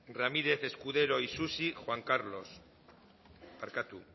ramírez escudero isusi juan carlos parkatu